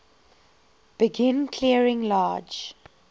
begin clearing large